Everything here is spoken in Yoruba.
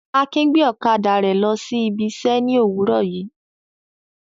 Akin gbé ọ̀kadà lọ ibi iṣẹ́ ní òwúrọ̀ yìí.